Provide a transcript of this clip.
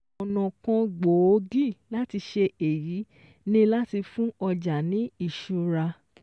Ọ̀nà kan gbòógì láti ṣe èyí ni láti fún ọjà ní ìṣúra